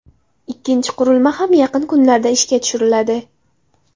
Ikkinchi qurilma ham yaqin kunlarda ishga tushiriladi.